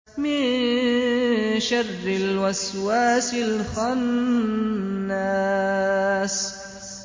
مِن شَرِّ الْوَسْوَاسِ الْخَنَّاسِ